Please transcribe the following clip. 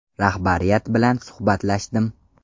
Rahbariyat bilan suhbatlashdim.